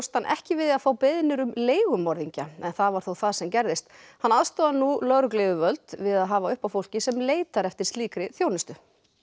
hann ekki við að fá beiðnir um leigumorðingja en það var þó það sem gerðist hann aðstoðar nú lögregluyfirvöld við að hafa upp á fólki sem leitar eftir slíkri þjónustu bob